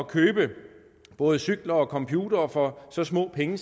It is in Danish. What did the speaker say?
købe både cykler og computere for så små penge